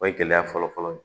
O ye gɛlɛya fɔlɔfɔlɔ ye